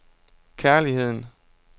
kærligheden